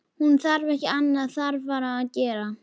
Hún hafði ekki annað þarfara að gera.